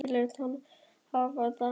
Ég lét hann hafa það óþvegið.